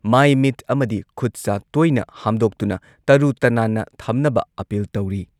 ꯂꯥꯟꯊꯦꯡ ꯑꯁꯤꯗ ꯃꯥꯏ ꯄꯥꯛꯅꯕꯒꯤꯗꯃꯛ ꯑꯥꯀꯥꯁꯕꯥꯅꯤ ꯏꯝꯐꯥꯜꯒꯤ ꯏ ꯄꯥꯎꯒꯤ ꯈꯨꯊꯥꯡꯗ ꯃꯤꯄꯨꯝ ꯈꯨꯗꯤꯡꯃꯛꯅ ꯑꯔꯥꯏꯕ ꯊꯧꯑꯣꯡ ꯑꯍꯨꯝ